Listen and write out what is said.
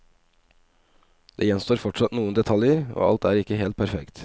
Det gjenstår fortsatt noen detaljer, og alt er ikke helt perfekt.